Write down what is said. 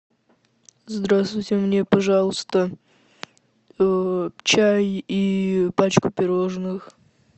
здравствуйте мне пожалуйста чай и пачку пирожных